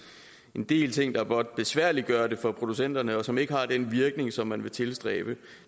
men det er ting der blot besværliggør det for producenterne og som ikke har den virkning som man vil tilstræbe